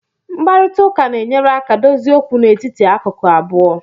Mkparịta ụka na-enyere aka dozie okwu n'etiti akụkụ abụọ